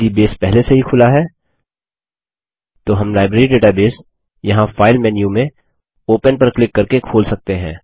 यदि बेस पहले से ही खुला है तो हम लाइब्रेरी डेटाबेस यहाँ फाइल मेन्यु में ओपन पर क्लिक करके खोल सकते हैं